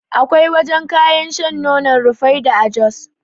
Akwai wajan kayan sha na nonon Rufaidah a jos